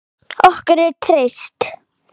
Okkur er treyst